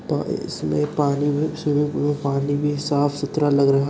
और इसमें पानी भी स्विमिंग पूल में पानी भी साफ सुथरा लग --